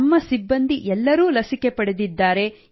ನಮ್ಮ ಸಿಬ್ಬಂದಿ ಎಲ್ಲರೂ ಲಸಿಕೆ ಪಡೆದಿದ್ದಾರೆ